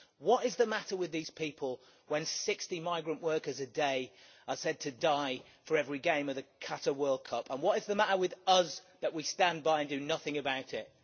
What is the matter with these people, when 60 migrant workers a day are said to die for every game of the Qatar World Cup? And what is the matter with us that we stand by and do nothing about it?